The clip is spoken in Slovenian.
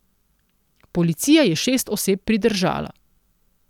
Policija je šest oseb pridržala.